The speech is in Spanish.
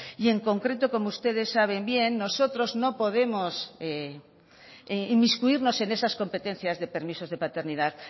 y en concreto como ustedes saben bien nosotros no podemos inmiscuirnos en esas competencias de permisos de paternidad